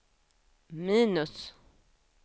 minus